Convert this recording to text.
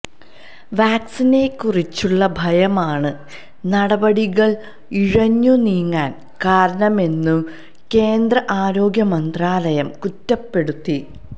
വാക്സിനെക്കുറിച്ചുള്ള ഭയമാണ് നടപടികൾ ഇഴഞ്ഞു നീങ്ങാൻ കാരണമെന്നു കേന്ദ്ര ആരോഗ്യമന്ത്രാലയം കുറ്റപ്പെടുത്തി